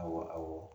Awɔ awɔ